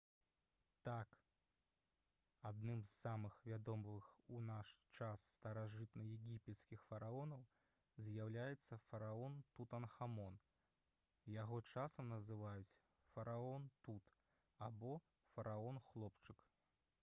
так! адным з самых вядомых у наш час старажытнаегіпецкіх фараонаў з'яўляецца фараон тутанхамон яго часам называюць «фараон тут» або «фараон-хлопчык»